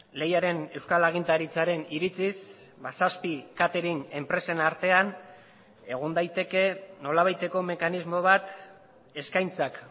lehiaren euskal agintaritzaren iritziz zazpi catering enpresen artean egon daiteke nolabaiteko mekanismo bat eskaintzak